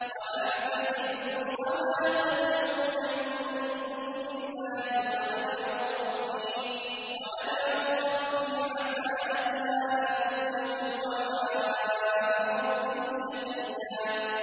وَأَعْتَزِلُكُمْ وَمَا تَدْعُونَ مِن دُونِ اللَّهِ وَأَدْعُو رَبِّي عَسَىٰ أَلَّا أَكُونَ بِدُعَاءِ رَبِّي شَقِيًّا